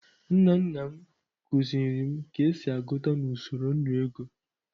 Nna nna m kuziri m ka esi agụta na usoro nnu ego.